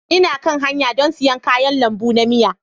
Ina kan hanya don siyan kayan lambu na miya.